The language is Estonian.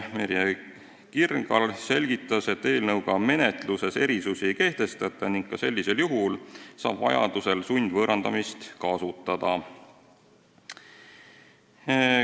Merje Krinal selgitas, et eelnõu kohaselt menetluses erisusi ei kehtestata ning ka sellisel juhul saab vajadusel sundvõõrandamist kasutada.